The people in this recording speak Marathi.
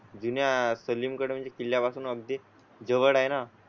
जुन्या सलीम म्हणजे किल्ल्या पासून अगदी जवळ आहे ना?